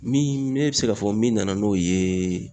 Min ne be se k'a fɔ min nana n'o ye